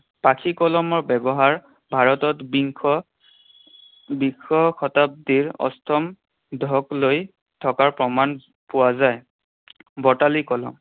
পাখি কলমৰ ব্যৱহাৰ ভাৰতত বিংশ বিংশ শতাব্দীৰ অষ্টম দশকলৈ থকাৰ প্ৰমাণ পোৱা যায়। বটালি কলম